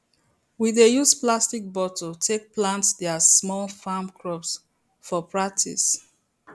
we dey use plastic bottle take plant their small farm crops for practice